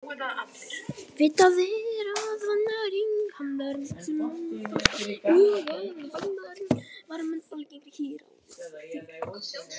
Vitað er að vannæring hamlar vitsmunaþroska og að vannæring var mun algengari hér áður fyrr.